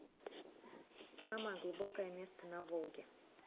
самое глубокое место на волге